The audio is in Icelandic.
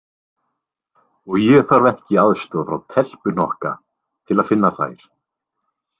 Og ég þarf ekki aðstoð frá telpuhnokka til að finna þær.